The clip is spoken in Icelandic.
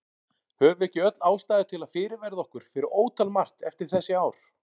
Höfum við ekki öll ástæðu til að fyrirverða okkur fyrir ótal margt eftir þessi ár?